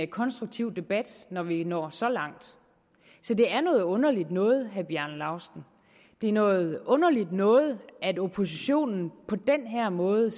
konstruktiv debat når vi når så langt så det er noget underligt noget til herre bjarne laustsen det er noget underligt noget at oppositionen på den her måde